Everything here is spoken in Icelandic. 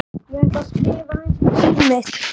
Ég ætla að skrifa aðeins um líf mitt.